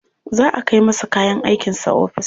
Za a kai masa kayan aikinsa ofis.